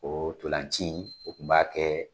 O ntolanci in o tun b'a kɛ.